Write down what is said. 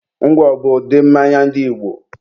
ngwọ bụ ụdị mmanya ndị Igbo.